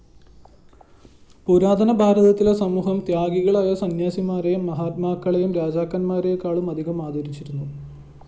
പുരാതന ഭാരതത്തിലെ സമൂഹം ത്യാഗികളായ സന്യാസിമാരെയും മഹാത്മാക്കളെയും രാജാക്കന്മാരെക്കാളുമധികം ആദരിച്ചിരുന്നു